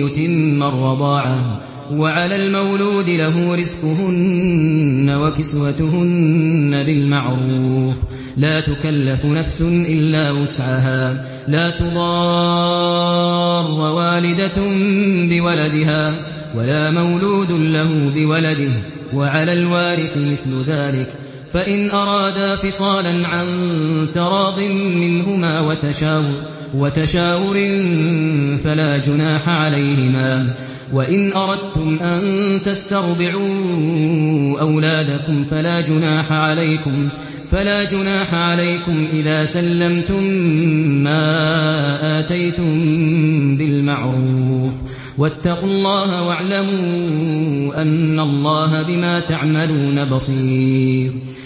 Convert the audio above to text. يُتِمَّ الرَّضَاعَةَ ۚ وَعَلَى الْمَوْلُودِ لَهُ رِزْقُهُنَّ وَكِسْوَتُهُنَّ بِالْمَعْرُوفِ ۚ لَا تُكَلَّفُ نَفْسٌ إِلَّا وُسْعَهَا ۚ لَا تُضَارَّ وَالِدَةٌ بِوَلَدِهَا وَلَا مَوْلُودٌ لَّهُ بِوَلَدِهِ ۚ وَعَلَى الْوَارِثِ مِثْلُ ذَٰلِكَ ۗ فَإِنْ أَرَادَا فِصَالًا عَن تَرَاضٍ مِّنْهُمَا وَتَشَاوُرٍ فَلَا جُنَاحَ عَلَيْهِمَا ۗ وَإِنْ أَرَدتُّمْ أَن تَسْتَرْضِعُوا أَوْلَادَكُمْ فَلَا جُنَاحَ عَلَيْكُمْ إِذَا سَلَّمْتُم مَّا آتَيْتُم بِالْمَعْرُوفِ ۗ وَاتَّقُوا اللَّهَ وَاعْلَمُوا أَنَّ اللَّهَ بِمَا تَعْمَلُونَ بَصِيرٌ